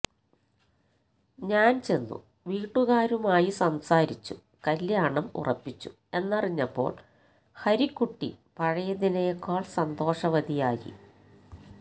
ഞാൻ ചെന്നു വീട്ടുകാരമായി സംസാരിച്ചു കല്യാണം ഉറപ്പിച്ചു എന്നറിഞ്ഞപ്പോൾ ഹരിക്കുട്ടി പഴയതിനേക്കാൾ സന്തോഷവതിയായി